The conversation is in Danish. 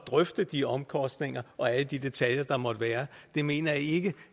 drøfte de omkostninger og alle de detaljer der måtte være det mener jeg ikke